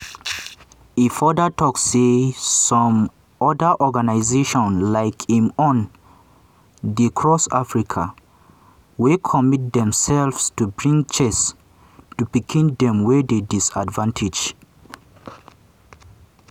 e further tok say some oda organisations like im own dey across africa wey commit demselves to bring chess to pikin dem wey dey disadvantaged.